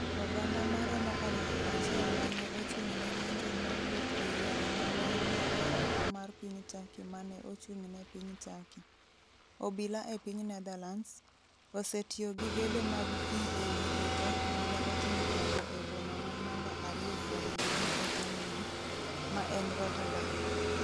Oganda ma romo 1,000 ma ne ochung’ ne ng’anjo nowuok e yore ma ne ni e oko mar piny Turkey ma ne ochung’ ne piny Turkey. obila e piny Netherlands, osetiyo gi gedo mag pi e wiyo jo Turkey mane otimo ng'anjo e boma ma namba ariyo kuom duong' e pinyno, ma en Rotterdam.